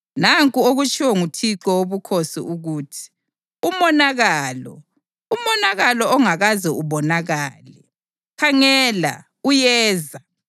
Nanku okutshiwo nguThixo Wobukhosi ukuthi: ‘Umonakalo! Umonakalo ongakaze ubonakale! Khangela, uyeza.